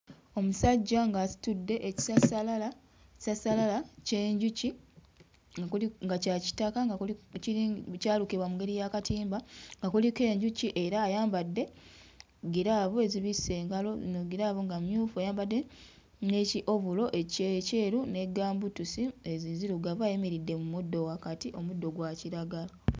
Omusajja ng'asitudde ekisassalala kisassalala ky'enjuki nga kuli nga kya kitaka nga kuli kyalukibwa mu ngeri y'akatimba nga kuliko enjuki era ayambadde ggiraavu ezibisse engalo zino ggiraavu nga mmyufu, ayambadde ne ki-ovulo ekye ekyeru ne gambuutusi enzirugavu ayimiridde mu muddo wakati; omuddo gwa kiragala.